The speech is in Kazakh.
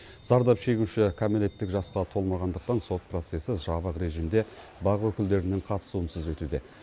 зардап шегуші кәмелеттік жасқа толмағандықтан сот процесі жабық режимде бақ өкілдерінің қатысуынсыз өтуде